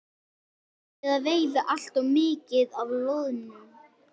Erum við að veiða allt of mikið af loðnu?